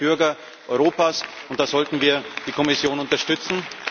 Das wollen die Bürger Europas, und da sollten wir die Kommission unterstützen.